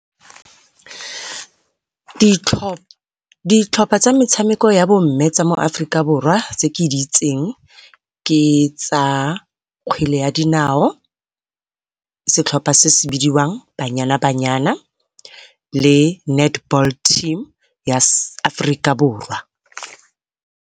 ditlhopha tsa metshameko ya bo mme mo Aforika Borwa tse ke di itseng ke tsa kgwele ya dinao, setlhopha se se bidiwang Banyana Banyana le netball team ya Aforika Borwa.